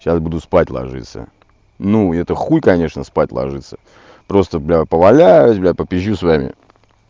сейчас буду спать ложиться ну это хуй конечно спать ложиться просто бля поваляюсь бля попизжю с вами